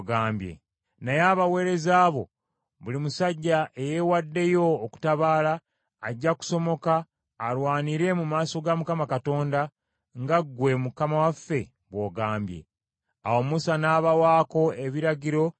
Awo Musa n’abawaako ebiragiro eri Eriyazaali kabona, n’eri Yoswa mutabani wa Nuuni, n’eri abakulembeze b’empya ez’omu bika by’abaana ba Isirayiri.